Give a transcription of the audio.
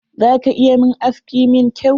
Za ka iya mun aski mi kyau?